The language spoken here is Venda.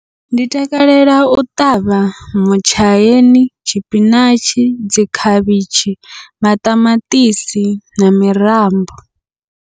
Ndi takalela u ṱavha mutshaini, tshipinatshi, dzi khavhitshi, maṱamaṱisi na mirambo.